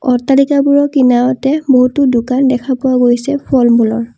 অট্টালিকাবোৰৰ কিনাৰতে বহুতো দোকান দেখা পোৱা গৈছে ফল মূলৰ।